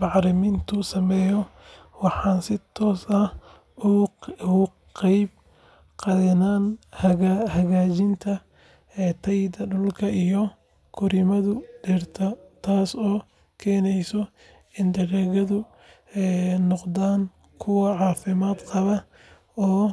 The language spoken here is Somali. bacriminta sameeyo, waxaan si toos ah uga qayb qaadanayaa hagaajinta tayada dhulka iyo korriimada dhirta, taasoo keeneysa in dalagyadu noqdaan kuwo caafimaad qaba oo